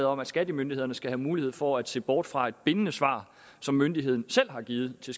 om at skattemyndighederne skal have mulighed for at se bort fra et bindende svar som myndigheden selv har givet til